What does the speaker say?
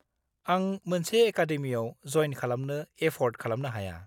आं मोनसे एकाडेमियाव जयेन खालामनो एफ'र्ड खालामनो हाया।